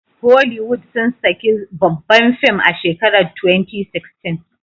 Holiwood sun saki zbabban film a shekarar 2016